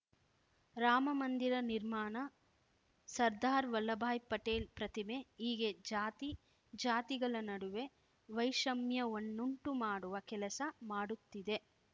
ರಾಮಮಂದಿರ ನಿರ್ಮಾಣ ಸರ್ಧಾರ್‌ ವಲ್ಲಭಾಯ್‌ ಪಟೇಲ್‌ ಪ್ರತಿಮೆ ಹೀಗೆ ಜಾತಿ ಜಾತಿಗಳ ನಡುವೆ ವೈಷಮ್ಯವನ್ನುಂಟು ಮಾಡುವ ಕೆಲಸ ಮಾಡುತ್ತಿದೆ